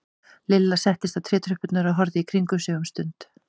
Lilla settist á trétröppurnar og horfði í kringum sig um stund.